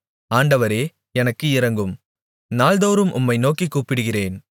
ஆண்டவரே எனக்கு இரங்கும் நாள்தோறும் உம்மை நோக்கிக் கூப்பிடுகிறேன்